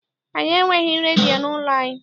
Anyị enweghị redio n'ụlọ anyị.